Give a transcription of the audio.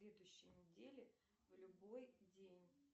следующей неделе в любой день